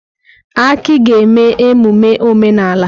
Aki ga-eme emume omenala.